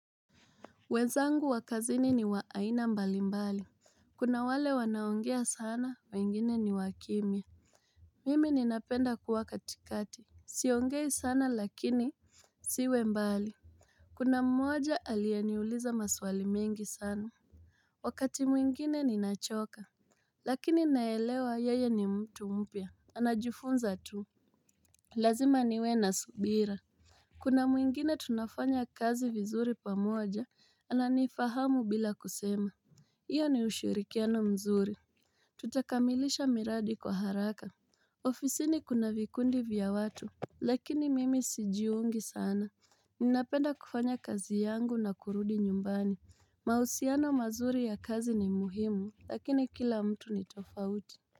Wenzangu wa kazini ni wa aina mbali mbali Kuna wale wanaongea sana wengine ni wakimia Mimi ninapenda kuwa katikati. Siongei sana lakini Siwe mbali. Kuna mmoja aliyeniuliza maswali mingi sana Wakati mwingine ninachoka Lakini naelewa yeye ni mtu mpya. Anajifunza tu Lazima niwe na subira Kuna mwingine tunafanya kazi vizuri pamoja ana nifahamu bila kusema Iyo ni ushirikiano mzuri Tutakamilisha miradi kwa haraka ofisini kuna vikundi vya watu Lakini mimi sijiungi sana Ninapenda kufanya kazi yangu na kurudi nyumbani mahusiano mazuri ya kazi ni muhimu Lakini kila mtu ni tofauti.